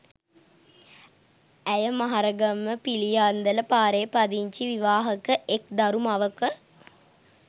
ඇය මහරගම පිළියන්දල පාරේ පදිංචි විවාහක එක් දරු මවක